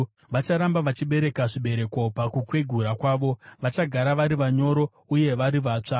Vacharamba vachibereka zvibereko pakukwegura kwavo, vachagara vari vanyoro uye vari vatsva.